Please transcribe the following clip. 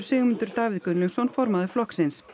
Sigmundur Davíð Gunnlaugsson formaður flokksins